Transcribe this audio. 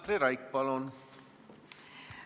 Katri Raik, palun!